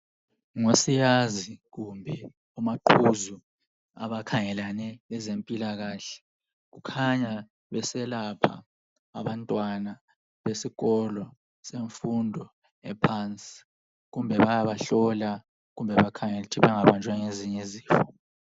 Ngosiyazi kumbe omaqhuzu abakhangelane lezempilakahle. Kukhanya beselapha abantwana besikolo semfundo ephansi. Kumbe bayabahlola, kumbe bakhengele ukuthi bengabanjwa ngezinye izifo.